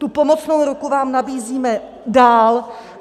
Tu pomocnou ruku vám nabízíme dál.